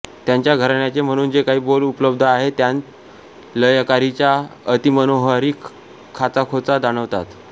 त्यांच्या घराण्याचे म्हणून जे काही बोल उपलब्ध आहेत त्यांत लयकारीच्या अतिमनोहारी खाचाखोचा जाणवतात